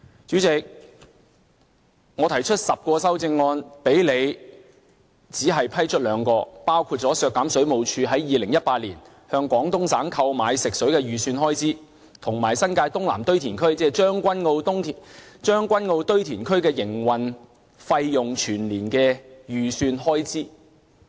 主席，我提出10項修正案，但你只批出兩項，包括削減水務署在2018年向廣東省購買食水的預算開支，以及新界東南堆填區，即將軍澳堆填區的營運費用全年預算開支。